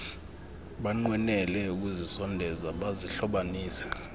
banqwenele ukuzisondeza bazihlobanise